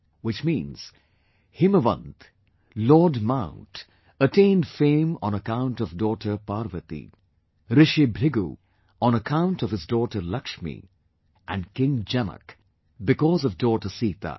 Which means, Himwant, Lord Mount attained fame on account of daughter Parvati, Rishi Brighu on account of his daughter Lakshmi and King Janak because of daughter Sita